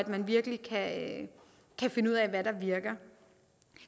man virkelig kan finde ud af hvad der virker